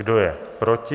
Kdo je proti?